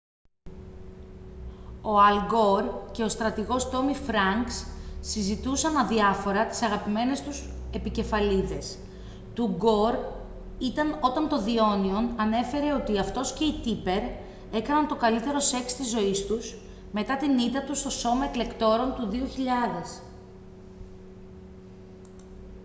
ο αλ γκορ και ο στρατηγός τόμι φρανκς συζητούσαν αδιάφορα τις αγαπημένες του επικεφαλίδες του γκορ ήταν όταν το the onion ανέφερε ότι αυτός και η tipper έκαναν το καλύτερο σεξ της ζωής τους μετά την ήττα του στο σώμα εκλεκτόρων του 2000